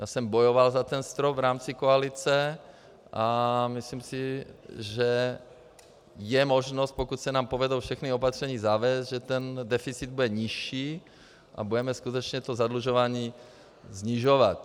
Já jsem bojoval za ten strop v rámci koalice a myslím si, že je možnost, pokud se nám povede všechna opatření zavést, že ten deficit bude nižší a budeme skutečně to zadlužování snižovat.